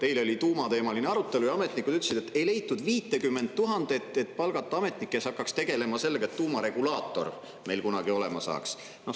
Eile oli tuumateemaline arutelu ja ametnikud ütlesid, et ei leitud 50 000, et palgata ametnik, kes hakkaks tegelema sellega, et tuumaregulaator meil kunagi olema saaks.